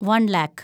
വൻ ലാക്ക്